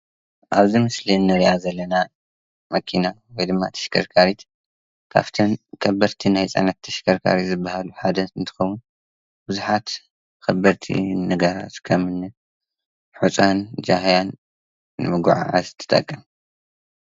አብዚ ምስሊ እንሪአ ዘለና መኪና ወይ ድማ ተሽከርካሪት ካብቶም ከበድቲ ናይ ፅዕነት ተሽከርከርቲ ዝበሃሉ ሓንቲ እንትትኸውን፤ ብዙሓት ከበድቲ ነገራት ከም ሑፃን ጃህያን ንምጉዕዓዝ ትጠቅም፡፡